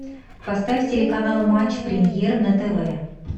поставь телеканал матч премьер на тв